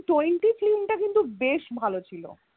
twenty film টা কিন্তু বেশ ভালো ছিল